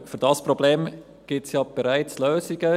Aber für dieses Problem gibt es ja bereits Lösungen.